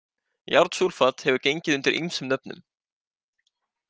Járnsúlfat hefur gengið undir ýmsum nöfnum.